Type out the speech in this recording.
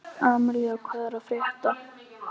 Amalía, hvað er að frétta?